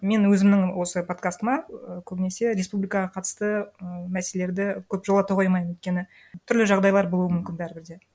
мен өзімнің осы подкастыма і көбінесе республикаға қатысты і мәселелерді көп жолата қоймаймын өйткені түрлі жағдайлар болу мүмкін бәрібір де